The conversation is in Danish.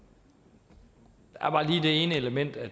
ene element at